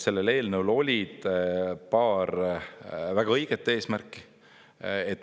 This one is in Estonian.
Sellel eelnõul oli paar väga õiget eesmärki.